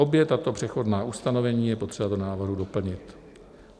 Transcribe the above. Obě tato přechodná ustanovení je potřeba do návrhu doplnit.